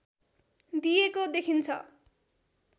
दिएको देखिन्छ